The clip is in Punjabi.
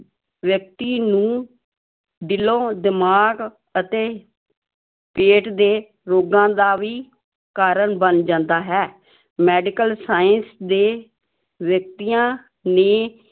ਵਿਅਕਤੀ ਨੂੰ ਦਿਲੋਂ, ਦਿਮਾਗ ਅਤੇ ਪੇਟ ਦੇ ਰੋਗਾਂ ਦਾ ਵੀ ਕਾਰਨ ਬਣ ਜਾਂਦਾ ਹੈ medical science ਦੇ ਵਿਅਕਤੀਆਂ ਨੇ